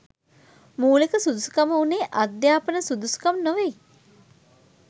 මූලික සුදුසුකම වුණේ අධ්‍යාපන සුදුසුකම් නොවෙයි